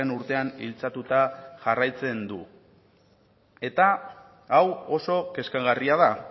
urtean iltzatuta jarraitzen du eta hau oso kezkagarria da